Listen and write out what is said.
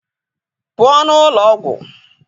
pụọ n'ụlọ ọgwụ!